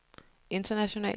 internationalt